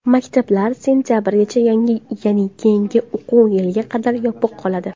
Maktablar sentabrgacha, ya’ni keyingi o‘quv yiliga qadar yopiq qoladi.